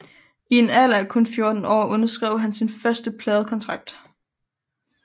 I en alder af kun 14 år underskrev han sin første pladekontrakt